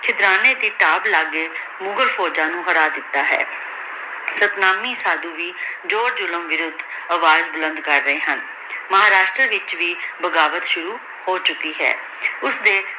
ਚੁਦ੍ਰਨੀ ਕਿਤਾਬ ਲਾਗੇ ਮੁਘਾਲ ਫੋਉਜਾਂ ਨੂ ਹਰਾ ਦਿਤਾ ਹੈ ਦੂਰ ਦਿਲੋਂ ਵੇਰੁਥ ਅਵਾਜ਼ ਬੁਲੰਦ ਕਰ ਰਹੀ ਹਨ ਮਹਾਰਾਸ਼ਟਰਾ ਵਿਚ ਵੀ ਬਗਾਵਤ ਸ਼ੁਰੂ ਹੋ ਚੁਕੀ ਹੈ ਓਸਦੀ